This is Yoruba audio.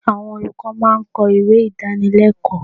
Àwọn olùkọ́ máa ń kọ ìwé Ìdánilẹ́kọ̀ọ́.